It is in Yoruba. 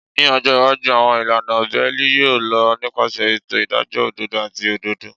Ni ọjọ iwaju, awọn ilana beeli yoo lọ nipasẹ eto idajọ ododo ati ododo.